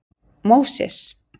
Móses